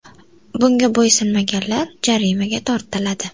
Bunga bo‘ysunmaganlar jarimaga tortiladi.